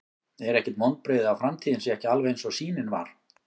Er ekkert vonbrigði að framtíðin sé ekki alveg eins og sýnin var?